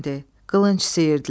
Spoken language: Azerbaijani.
Qılınc sıyırdılar.